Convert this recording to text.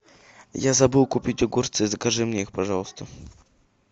я забыл купить огурцы закажи мне их пожалуйста